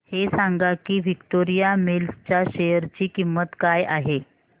हे सांगा की विक्टोरिया मिल्स च्या शेअर ची किंमत काय आहे